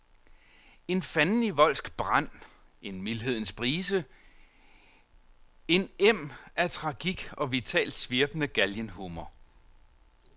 En fandenivoldsk brand, en mildhedens brise, en em af tragik og vitalt svirpende galgenhumor.